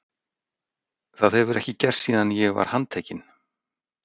Það hefur ekki gerst síðan ég var handtekinn.